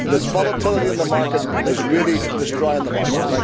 This volatility in the market is really destroying the market.